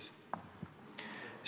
Aitäh, lugupeetud ettekandja!